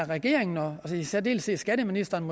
regeringen og i særdeleshed skatteministeren